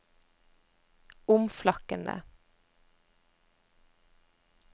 omflakkende